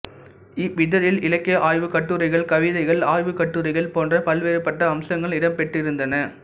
இவ்விதழில் இலக்கிய ஆய்வுக் கட்டுரைகள் கவிதைகள் ஆய்வுக் கட்டுரைகள் போன்ற பல்வேறுபட்ட அம்சங்கள் இடம்பெற்றிருந்தன